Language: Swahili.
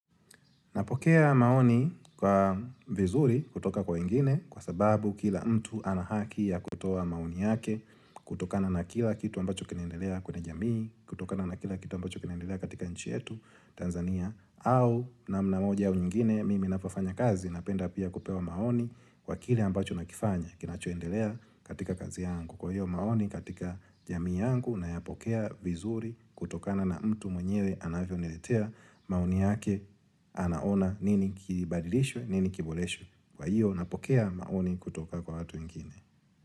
Napokea maoni kwa vizuri kutoka kwa wengine kwa sababu kila mtu ana haki ya kutoa maoni yake kutokana na kila kitu ambacho kinaendelea kwenye jamii, kutokana na kila kitu ambacho kinaendelea katika nchi yetu Tanzania au namna moja au nyingine mimi napofanya kazi napenda pia kupewa maoni kwa kile ambacho nakifanya kinachoendelea katika kazi yangu. Kwa hiyo maoni katika jamii yangu nayapokea vizuri kutokana na mtu mwenyewe anavyoniletea maoni yake anaona nini kibadilishwe, nini kiboreshwe. Kwa hiyo napokea maoni kutoka kwa watu wengine.